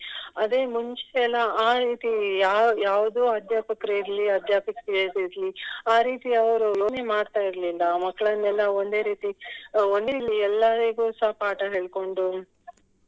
ಅದೇ ಮುಂಚೆ ಎಲ್ಲ ಆ ರೀತಿ ಯ~ ಯಾವುದು ಅಧ್ಯಾಪಕರು ಇರ್ಲಿ ಅಧ್ಯಾಪಕಿಯರು ಇರ್ಲಿ ಆ ರೀತಿ ಅವರು ಯೋಚನೆ ಮಾಡ್ತಾ ಇರ್ಲಿಲ್ಲ ಮಕ್ಲನ್ನೆಲ್ಲ ಒಂದೇ ರೀತಿ ಎಲ್ಲರಿಗೆ ಸಹ ಪಾಠ ಹೇಳ್ಕೊಂಡು